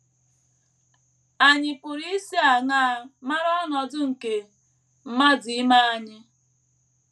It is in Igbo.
Ànyị pụrụ isi aṅaa mara ọnọdụ nke mmadụ ime anyị?